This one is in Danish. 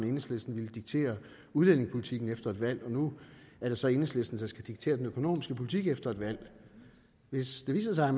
enhedslisten ville diktere udlændingepolitikken efter et valg nu er det så enhedslisten der skal diktere den økonomiske politik efter et valg hvis det viser sig at